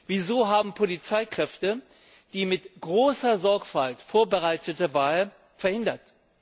Wieso haben Polizeikräfte die mit großer Sorgfalt vorbereitete Wahl verhindert?